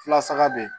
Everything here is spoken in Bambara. Fulasaka be ye